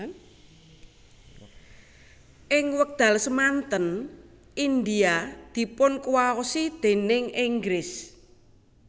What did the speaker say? Ing wekdal semanten India dipunkuwaosi déning Inggris